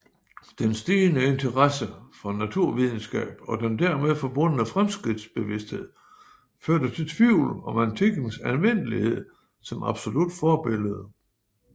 Den stigende interesse for naturvidenskab og den dermed forbundne fremskridtsbevidsthed førte til tvivl om antikkens anvendelighed som absolut forbillede